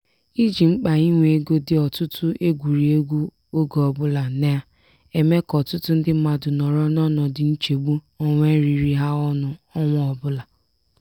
iji mkpa inwe ego dị ọtụtụ egwurị egwu oge ọbụla na-eme ka ọtụtụ ndị mmadụ nọrọ n'ọnọdụ nchegbu onwe riri ha ọnụ ọnwa ọbụla.